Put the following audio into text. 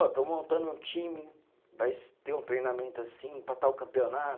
Ó, estou montando um time, vai ter um treinamento assim para tal campeonato.